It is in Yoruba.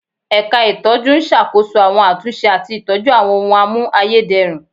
Ẹ̀ka itọju ń ṣàkóso àwọn àtúnṣe àti ìtọ́jú àwọn ohùn a mú ayédèrú